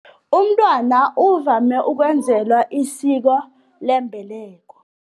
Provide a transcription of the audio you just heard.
Umntwana uvame ukwenzelwa isiko lembeleko.